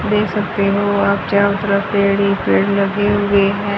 देख सकते हो आप चारों तरफ पेड़ ही पेड़ लगे हुए है।